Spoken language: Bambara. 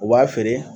U b'a feere